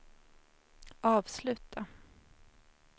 avsluta